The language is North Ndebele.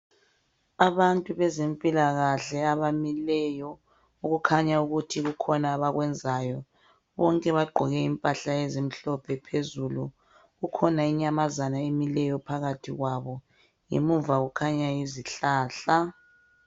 Abantu benzempilakahle abamileyo okukhanya ukuthi kukhona abakwenzayo bonke bagqoke impahla ezimhlophe phezulu kukhona inyamazana emileyo phakathi kwabo emuva kukhanya izihlahla.